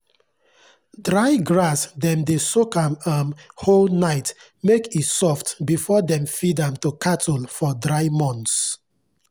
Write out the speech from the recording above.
dry grass dem dey soak am um whole night make e soft before dem feed am to cattle for dry months.